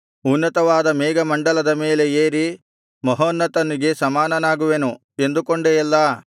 ಉನ್ನತವಾದ ಮೇಘಮಂಡಲದ ಮೇಲೆ ಏರಿ ಮಹೋನ್ನತನಿಗೆ ಸಮಾನನಾಗುವೆನು ಎಂದುಕೊಂಡೆಯಲ್ಲಾ